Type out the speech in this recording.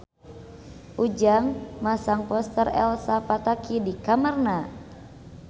Ujang masang poster Elsa Pataky di kamarna